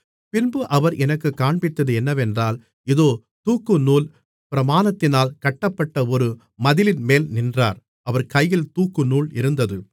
பின்பு அவர் எனக்குக் காண்பித்தது என்னவென்றால் இதோ தூக்குநூல் பிரமாணத்தினால் கட்டப்பட்ட ஒரு மதிலின்மேல் நின்றார் அவர் கையில் தூக்குநூல் இருந்தது